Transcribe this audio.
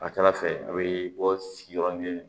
Ka ca ala fɛ a bɛ bɔ sigiyɔrɔ kelen